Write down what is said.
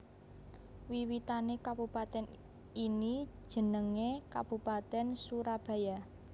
Wiwitané kabupatèn ini jenengé Kabupatèn Surabaya